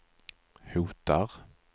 hotar